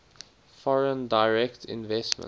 foreign direct investment